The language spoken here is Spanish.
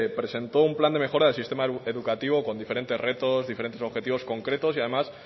presentó un plan de mejora del sistema educativo con diferentes retos diferentes objetivos concretos y además